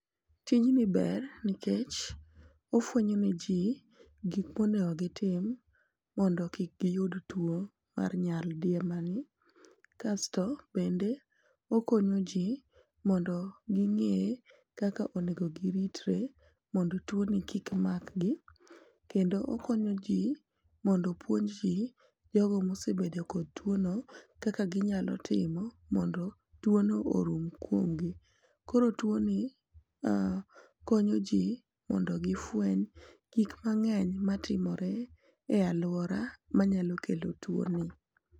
Tijni ber nikech ofwenyo ne ji gik monego gitim mondo kik giyud tuo mar nyaldiema kasto bende okonyo ji mondo ging'e kaka onego giritre mondo tuo ni kik mar gi kendo okonyo ji mondo opuonj gi jogo mosebedo kod tuo no kaka ginyalo timo mondo tuo no orum kuom gi ,koro tuo no konyo ji mondo gifweny gik mang'eny matimore e aluora manyalo kelo tuo ni.